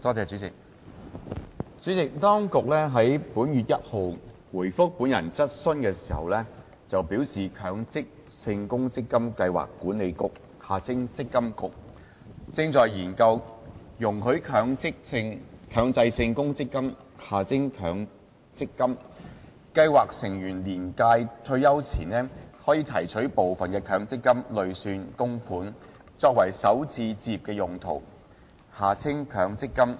主席，當局於本月1日回覆本人質詢時表示，強制性公積金計劃管理局正研究，容許強制性公積金計劃成員年屆退休前，提取部分強積金累算供款，作首次置業用途。